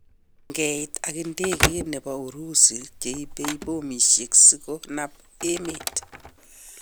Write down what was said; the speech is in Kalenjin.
Ngeit ak ndegeit chepo Urusi cheipe bomishek sikonap emet